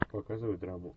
показывай драму